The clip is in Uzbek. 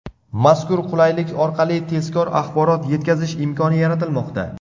Mazkur qulaylik orqali tezkor axborot etkazish imkoni yaratilmoqda.